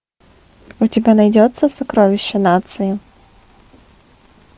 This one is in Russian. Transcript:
у тебя найдется сокровище нации